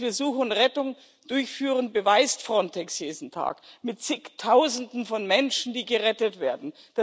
Dass wir Suche und Rettung durchführen, beweist Frontex jeden Tag mit Zigtausenden von Menschen, die gerettet werden.